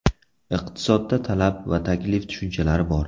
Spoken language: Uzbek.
Iqtisodda talab va taklif tushunchalari bor.